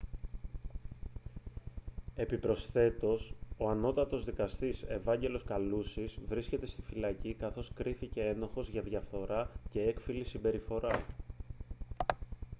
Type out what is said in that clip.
επιπροσθέτως ο ανώτατος δκαστής ευάγγελος καλούσης βρίσκεται στη φυλακή καθώς κρίθηκε ένοχος για διαφθορά και έκφυλη συμπεριφορά